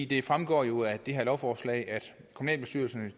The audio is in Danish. det fremgår jo af det her lovforslag at kommunalbestyrelserne